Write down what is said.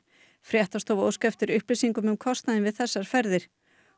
fréttastofa óskaði eftir upplýsingum um kostnaðinn við þessar ferðir